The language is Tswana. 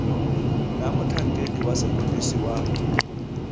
na motlhankedi wa sepodisi wa